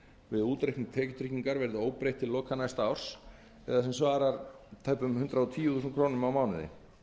við útreikning tekjutryggingar verði óbreytt til loka næsta árs eða sem svarar tæpum hundrað og tíu þúsund krónum á mánuði